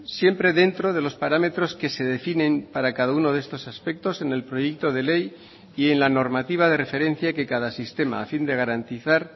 siempre dentro de los parámetros que se definen para cada uno de estos aspectos en el proyecto de ley y en la normativa de referencia que cada sistema a fin de garantizar